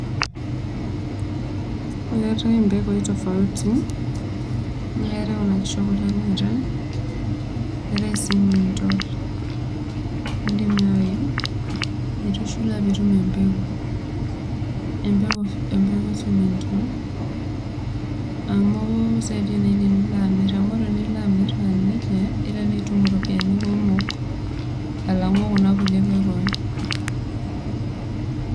keetae mpekui tofaut, keetae kuna kishu ekule neetae. keetae sii nimintor. idim naaji aitushula pee itum empeku. amu sidai naaji tenilo amir. amu tenimir etiu nejia nitum impiisai kumok alangu kuna kulie pekui.